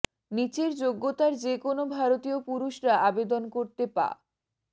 নিচের যোগ্যতার যে কোনও ভারতীয় পুরুষরা আবেদন করতে পা